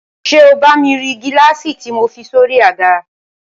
ṣé o bá mi rí gíláàsì tí mo fi sórí i àga?